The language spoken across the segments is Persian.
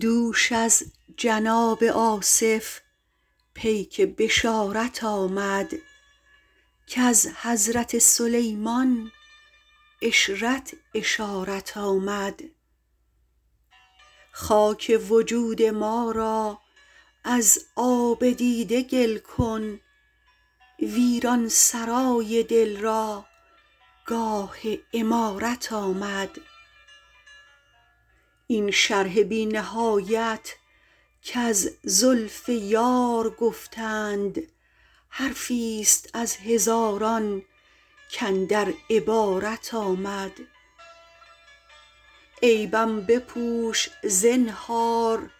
دوش از جناب آصف پیک بشارت آمد کز حضرت سلیمان عشرت اشارت آمد خاک وجود ما را از آب دیده گل کن ویران سرای دل را گاه عمارت آمد این شرح بی نهایت کز زلف یار گفتند حرفی ست از هزاران کاندر عبارت آمد عیبم بپوش زنهار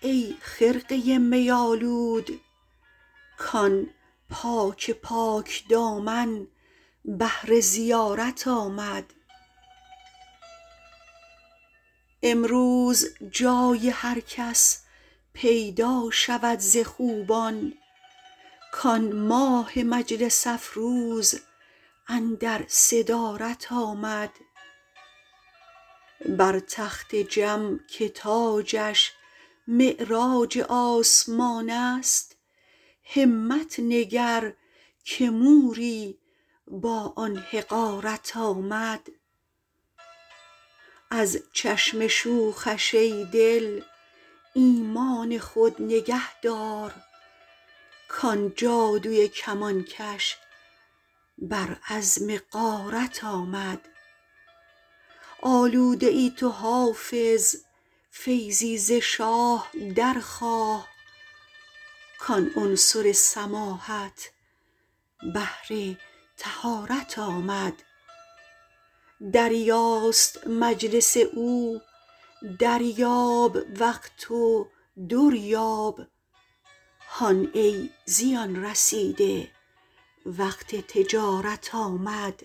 ای خرقه می آلود کآن پاک پاک دامن بهر زیارت آمد امروز جای هر کس پیدا شود ز خوبان کآن ماه مجلس افروز اندر صدارت آمد بر تخت جم که تاجش معراج آسمان است همت نگر که موری با آن حقارت آمد از چشم شوخش ای دل ایمان خود نگه دار کآن جادوی کمانکش بر عزم غارت آمد آلوده ای تو حافظ فیضی ز شاه درخواه کآن عنصر سماحت بهر طهارت آمد دریاست مجلس او دریاب وقت و در یاب هان ای زیان رسیده وقت تجارت آمد